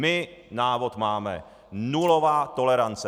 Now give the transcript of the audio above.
My návod máme: nulová tolerance.